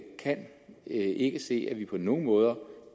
kan ikke se at vi på nogen måde